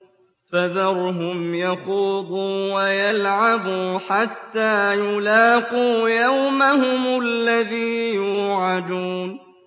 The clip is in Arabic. فَذَرْهُمْ يَخُوضُوا وَيَلْعَبُوا حَتَّىٰ يُلَاقُوا يَوْمَهُمُ الَّذِي يُوعَدُونَ